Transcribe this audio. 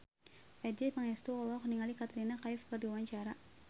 Adjie Pangestu olohok ningali Katrina Kaif keur diwawancara